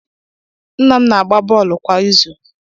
Nna m na-agba bọọlụ kwa izù.